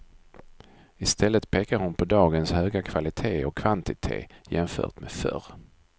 I stället pekar hon på dagens höga kvalitet och kvantitet jämfört med förr.